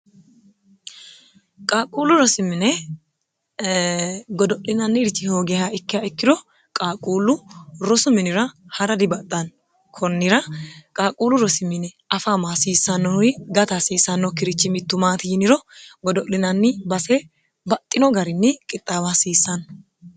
qaaquullu rosimine godo'linanni richi hoogeha ikki ikkiro qaaquullu rosu minira ha'ra dibaxxanno kunnira qaaquullu rosimine afaama hasiissannohuri gata hasiissanno kirichi mittumaati yiniro godo'linanni base baxxino garinni qixxaawa hasiissanno